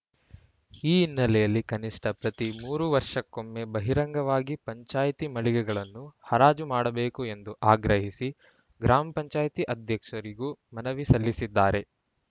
ಈ ಹಿನ್ನೆಲೆಯಲ್ಲಿ ಕನಿಷ್ಠ ಪ್ರತಿ ಮೂರು ವರ್ಷಕ್ಕೊಮ್ಮೆ ಬಹಿರಂಗವಾಗಿ ಪಂಚಾಯ್ತಿ ಮಳಿಗೆಗಳನ್ನು ಹರಾಜು ಮಾಡಬೇಕು ಎಂದು ಆಗ್ರಹಿಸಿ ಗ್ರಾಮ ಪಂಚಾಯತ್ ಅಧ್ಯಕ್ಷರಿಗೂ ಮನವಿ ಸಲ್ಲಿಸಿದ್ದಾರೆ